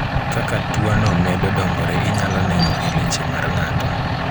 kaka tuo no medo dongore inyalo neno e leche mar ng'ato.